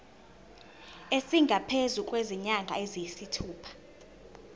esingaphezu kwezinyanga eziyisithupha